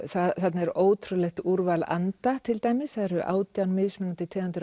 þarna er ótrúlegt úrval anda til dæmis það eru átján mismunandi tegundir